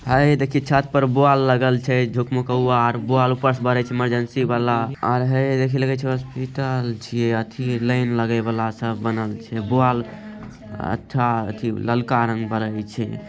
है देखिए छत पर बॉल लगल छ झुकमुकवा बॉल बस जालित हई इमरजेंसी वाला | और हई देख हॉस्पिटल छिये और ठी लाइन लगे वाला सब बनल छै बॉल ललका रंग बरे छै |